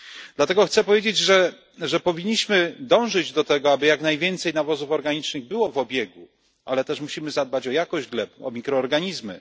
Dlatego chcę powiedzieć, że powinniśmy dążyć do tego, aby jak najwięcej nawozów organicznych było w obiegu, ale też musimy zadbać o jakość gleb, o mikroorganizmy.